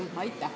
Aitäh!